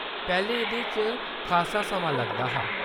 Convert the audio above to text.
पैह्‌‌‌लें एह्‌‌‌दे च खासा समां लगदा हा।